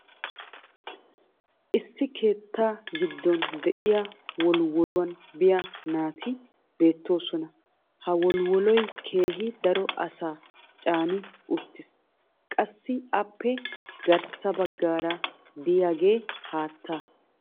issi keettaa giddon diya wolwwoluwaan biya naati beetoosona. ka wolwwoloy keehi daro asaa caani uttiis. qassi appe garssa bagaara diyaagee haattaa.